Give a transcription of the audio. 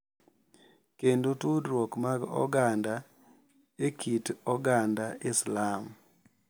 Kendo tudruok mag oganda e kit oganda Islam.